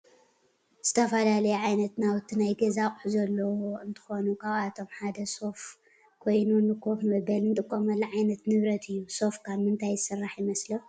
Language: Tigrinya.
ዝተፈላለዩ ዓይነት ናውቲ ናይ ገዛ አቁሑ ዘለዎ እንትኮኑ ካብአቶም ሓደ ሶፋ ኮይኑ ንከፍ መበሊ እንጥቀመሉ ዓይነት ንብረት እዩ። ሶፋ ካብ ምንታይ ዝስራሕ ይመስለኩም?